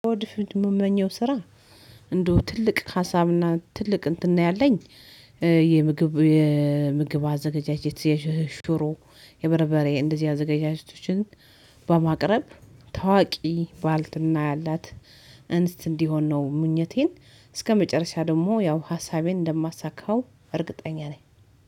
ወደ ፊት የምመኘው ስራ እንደው ትልቅ ሀሳብና ትልቅ እንትን ነው ያለኝ የምግብ የምግብ አዘጋጃጀት የሽሮ የበረበሬ እንደዚህ አዘጋጃጀቶችን በማቅረብ ታዋቂ ባልትና ያላት እንስት እንዲሆን ነው ምኞቴን እስከመጨረሻ ደግሞ ያው ሀሳቤን እንደማሳካው እርግጠኛ ነኝ።